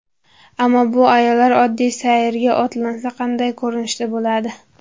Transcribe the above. Ammo bu ayollar oddiy sayrga otlansa qanday ko‘rinishda bo‘ladi?